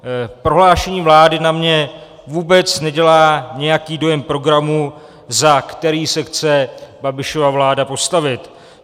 Prohlášení vlády na mě vůbec nedělá nějaký dojem programu, za který se chce Babišova vláda postavit.